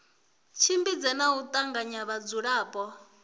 tshimbidze na u tanganya vhadzulapo